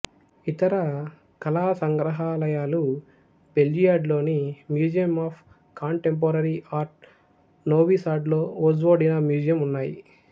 ఇతర కళా సంగ్రహాలయాలు బెల్జియాడ్లోని museum of contemporary art Novi సాడ్లో వొజ్వోడినా మ్యూజియం ఉన్నాయి